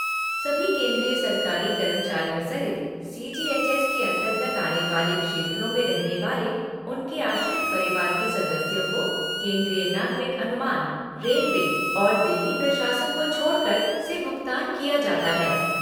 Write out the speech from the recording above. सभी केंद्रीय सरकारी कर्मचारियों सहित सी जी एच एस के अंतर्गत आने वाले क्षेत्रों में रहने वाले उनके आश्रित परिवार के सदस्यों को केंद्रीय नागरिक अनुमान, रेलवे और दिल्ली प्रशासन को छोड़कर, से भुगतान किया जाता है।